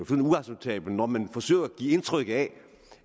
og når man forsøger at give indtryk af